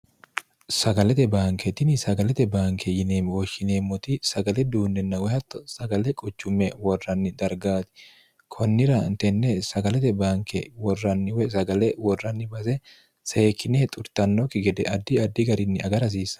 sagalete baanketini sagalete baanke yinemwoshshineemmoti sagale duunninna woy hatto sagale quchumme worranni dargaati kunnira tenne sagalete baanke worranniwsagale worranni base seekine xurtannokki gede addi addi garinni agara hasiissan